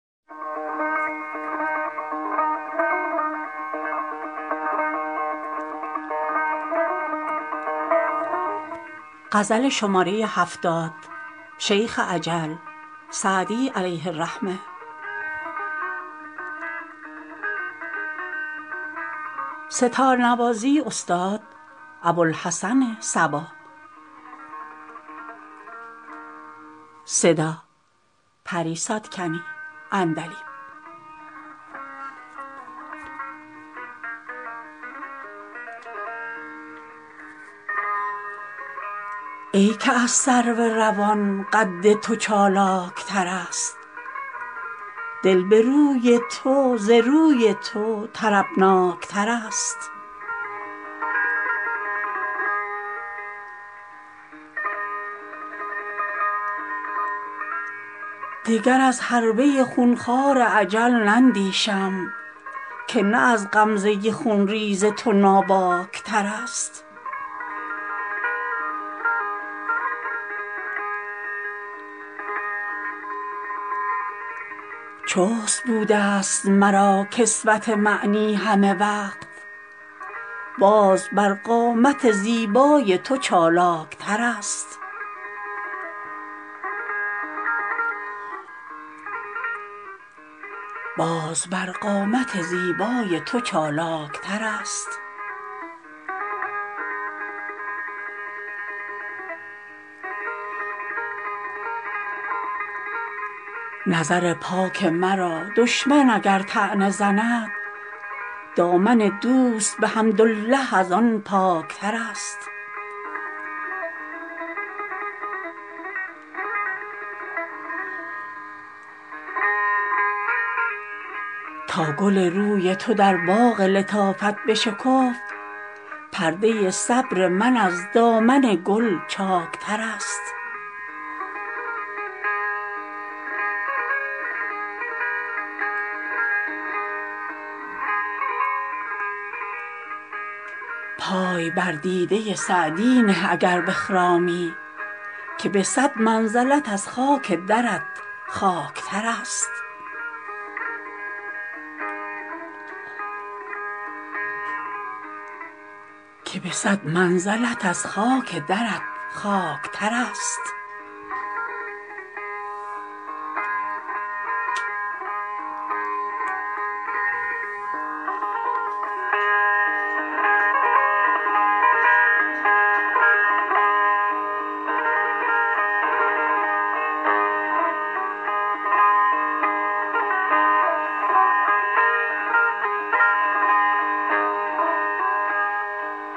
ای که از سرو روان قد تو چالاک ترست دل به روی تو ز روی تو طربناک ترست دگر از حربه خون خوار اجل نندیشم که نه از غمزه خون ریز تو ناباک ترست چست بوده ست مرا کسوت معنی همه وقت باز بر قامت زیبای تو چالاک ترست نظر پاک مرا دشمن اگر طعنه زند دامن دوست به حمدالله از آن پاک ترست تا گل روی تو در باغ لطافت بشکفت پرده صبر من از دامن گل چاک ترست پای بر دیده سعدی نه اگر بخرامی که به صد منزلت از خاک درت خاک ترست